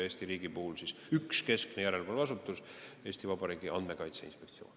Eesti riigis on üks keskne järelevalveasutus, Eesti Vabariigi Andmekaitse Inspektsioon.